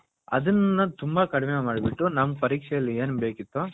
ಅದುನ್ನ ತುಂಬಾ ಕಡಿಮೆ ಮಾಡಿಬಿಟ್ಟು ನಮ್ಮ ಪರೀಕ್ಷೆಯಲ್ಲಿ ಏನು ಬೇಕಿತ್ತೋ.